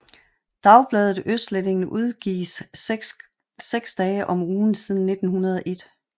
Dagbladet Østlendingen udgives seks dage om ugen siden 1901